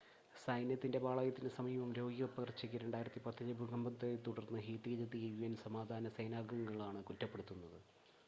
സൈന്യത്തിൻ്റെ പാളയത്തിന് സമീപം തുടങ്ങിയ രോഗപകർച്ചക്ക് 2010-ലെ ഭൂകമ്പത്തെ തുടർന്ന് ഹെയ്ത്തിയിലെത്തിയ യുഎൻ സമാധാന സേനാംഗങ്ങളാണ് കുറ്റപ്പെടുത്തപ്പെടുന്നത്